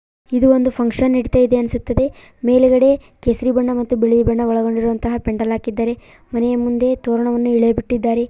ಇದು ಒಂದು ಫಂಕ್ಷನ್ ನಡಿತಾ ಇದೆ ಅನ್ಸುತ್ತದೆ ಮೇಲ್ಗಡೆ ಕೇಸರಿ ಬಣ್ಣ ಮತ್ತು ಬಿಳಿ ಬಣ್ಣ ಒಳಗೊಂಡಿರುವಂತಹ ಪೆಂಡಾಲಾ ಕಿದ್ದಾರೆ ಮನೆಯ ಮುಂದೆ ತೋರಣವನ್ನು ಇಳೆ ಬಿಟ್ಟಿದ್ದಾರೆ.